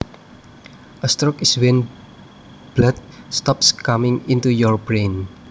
A stroke is when blood stops coming into your brain